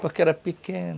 Porque era pequeno...